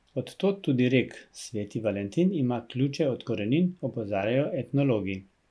Od tod tudi rek Sveti Valentin ima ključe od korenin, opozarjajo etnologi.